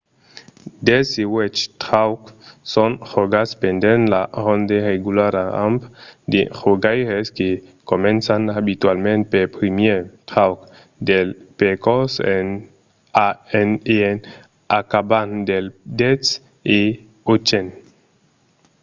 dètz-e-uèch traucs son jogats pendent una ronde regulara amb de jogaires que començan abitualament pel primièr trauc del percors e en acabant pel dètz-e-ochen